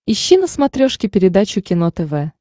ищи на смотрешке передачу кино тв